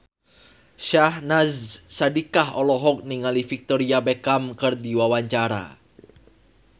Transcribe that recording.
Syahnaz Sadiqah olohok ningali Victoria Beckham keur diwawancara